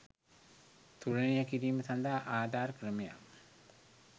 තුලනය කිරීම සඳහා ආධාර ක්‍රමයක්